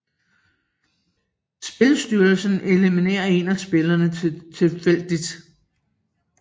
Spilstyreren eliminerer en af spillerne tilfældigt